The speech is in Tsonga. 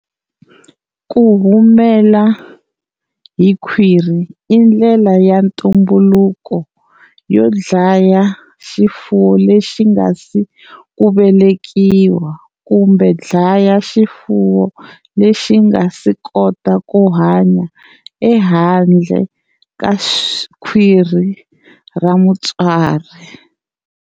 Ku humela hi khwiri i ndlela ya ntumbuluko yo dlaya xifuwo lexi nga si ku velekiwa kumbe dlaya xifuwo lexi nga si kotaka ku hanya ehandle ka khwiri ra mutswari.